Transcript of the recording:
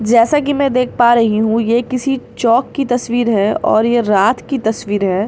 जैसा कि में देख पा रही हूँ ये किसी चौक कि तस्वीर है और ये रात की तस्वीर है।